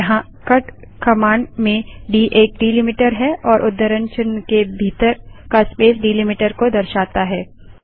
यहाँ cut command में D एक डैलिमीटर है और उद्धरण चिन्ह के भीतर का स्पेस डैलिमीटर को दर्शाता है